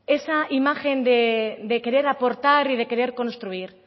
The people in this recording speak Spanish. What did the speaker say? esa imagen de querer aportar y de querer construir